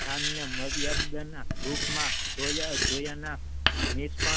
થાનને માંડ્યાનના રૂપમાં જોયા જોયાના